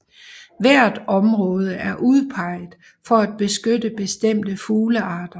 Hvert område er udpeget for at beskytte bestemte fuglearter